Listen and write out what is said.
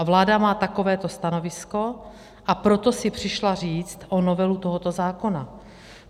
A vláda má takovéto stanovisko, a proto si přišla říct o novelu tohoto zákona.